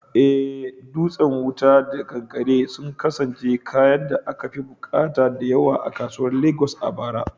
Eh, dutsen wuta da kankare sun kasance kayan da akafi bukata da yawa a kasuwar Legas a bara.